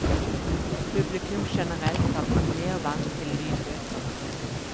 Publikum generelt er blitt mer vant til lydbøker.